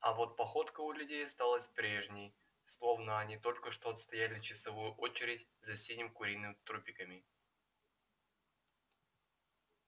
а вот походка у людей осталась прежней словно они только что отстояли часовую очередь за синим куриным трупиками